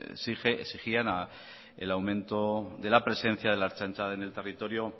exigían el aumento de la presencia de la ertzaintza en el territorio